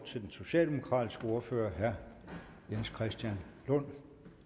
til den socialdemokratiske ordfører herre jens christian lund